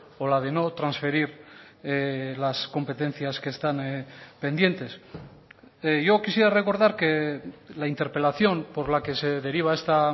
o la de no transferir las competencias que están pendientes yo quisiera recordar que la interpelación por la que se deriva esta